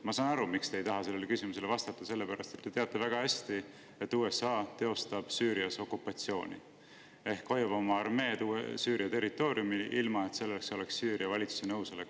Ma saan aru, miks te ei taha sellele küsimusele vastata, sellepärast et te teate väga hästi, et USA teostab Süürias okupatsiooni ehk hoiab oma armeed Süüria territooriumil, ilma et selleks oleks Süüria valitsuse nõusolek.